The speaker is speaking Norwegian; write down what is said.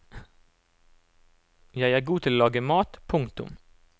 Jeg er god til å lage mat. punktum